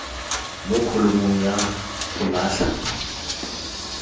mo kholomong ya go latlha